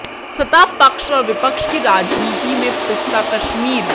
सत्ता पक्ष और विपक्ष की राजनीति में पिसता कश्मीर